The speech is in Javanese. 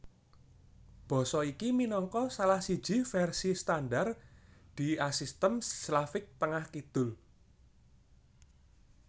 Basa iki minangka salah siji vèrsi standar diasistem Slavik Tengah kidul